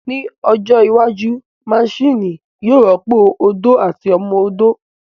Ní ọjọ́ iwájú, maṣini yóò rọ́pò ó odó àti ọmọ odó